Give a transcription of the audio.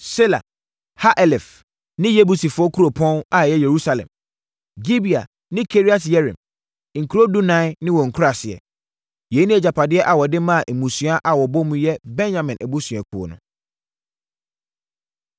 Sela, Ha-Elef ne Yebusifoɔ kuropɔn (a ɛyɛ Yerusalem), Gibea ne Kiriat-Yearim, nkuro dunan ne wɔn nkuraaseɛ. Yei ne agyapadeɛ a wɔde maa mmusua a wɔbɔ mu yɛ Benyamin abusuakuo no.